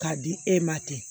K'a di e ma ten